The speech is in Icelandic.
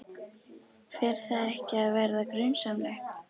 Fer það ekki að verða grunsamlegt?